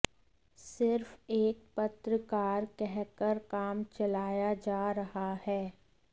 सिर्फ एक पत्रकार कहकर काम चलाया जा रहा है